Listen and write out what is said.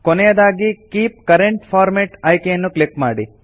ಕೊನೆಯದಾಗಿ keep current format ಆಯ್ಕೆಯನ್ನು click ಮಾಡಿ